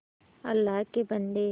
अल्लाह के बन्दे